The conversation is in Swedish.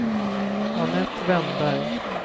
Anette Wennberg